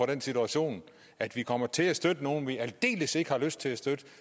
den situation at vi kommer til at støtte nogle vi aldeles ikke har lyst til at støtte